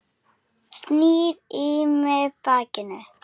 Snýr í mig bakinu.